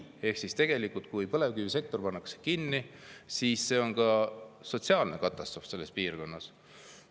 Ehk siis tegelikult, kui põlevkivisektor pannakse kinni, siis see on ka sotsiaalne katastroof selles piirkonnas.